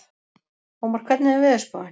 Ómar, hvernig er veðurspáin?